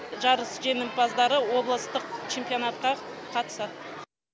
жарыс жеңімпаздары облыстық чемпионатқа қатысады